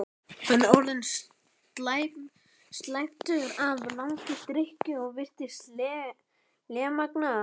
Hann er orðinn slæptur af langri drykkju og virðist lémagna.